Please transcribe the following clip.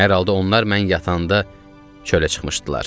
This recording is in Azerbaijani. Hər halda onlar mən yatanda çölə çıxmışdılar.